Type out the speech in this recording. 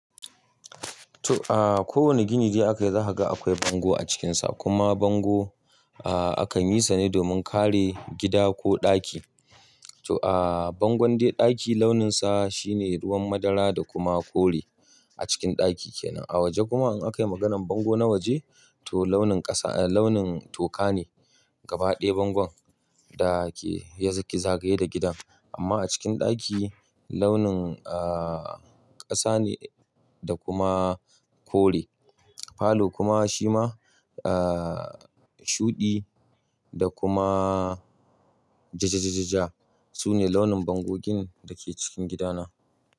To aa, ko wane gini da aka yi za ka ga akwai bango a cikin sa. Kuma bango, aa, akan yi sani domin kare gida ko ɗaki. To aa, bangon dai ɗaki launin sa shine ruwan madara da kuma kore a cikin ɗaki kenan. A waje kuma in aka yi maganar bango na waje to launin ƙasa, launin toka ne gaba ɗaya bangon da ke yanzu ki zagaye da gidan. Amma a cikin ɗaki launin, aa, ƙasa ne da kuma kore. Falo kuma shi ma, aa, shuɗi da kuma ja ja ja ja ja su ne launin bangogin da ke cikin gidana.